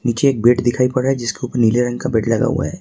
नीचे एक बेड दिखाई पड़ रहा है जिसके उपर नीले रंग का बेड लगा हुआ है।